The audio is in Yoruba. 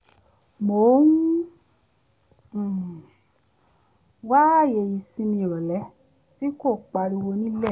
mò ń um wá ààyè ìsinmi ìrọ̀lẹ́ tí kò pariwo nílé